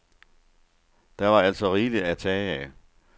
Der var altså rigeligt at tage af.